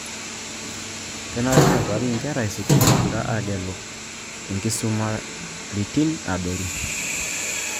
Kenare neutari inkera esukuul egira aagelu inkisumaitin adoru